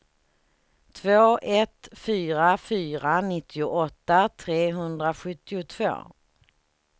två ett fyra fyra nittioåtta trehundrasjuttiotvå